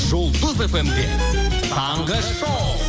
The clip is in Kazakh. жұлдыз фм де таңғы шоу